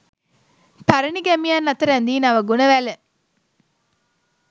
පැරැණි ගැමියන් අත රැඳී නව ගුණ වැල